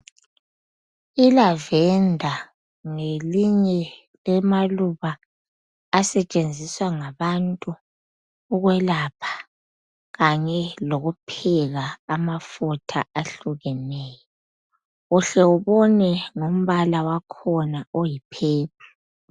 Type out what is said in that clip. Ilavender ngelinye lamaluba asetshenziswa ngabantu ukwelapha Kanye lokupheka amafutha ahlukeneyo uhle ubone ngombala wakhona oyi purple.